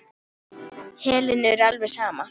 Helenu er alveg sama.